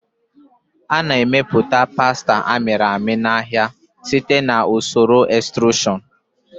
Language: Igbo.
A na-emepụta pasta a mịrị amị n'ahịa site na usoro extrusion.